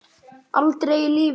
Aldrei í lífinu.